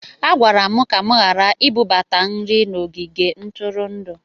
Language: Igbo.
A gwara m ka m ghara ibubata nri n'ogige ntụrụndụ